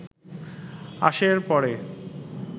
আসে এর পরে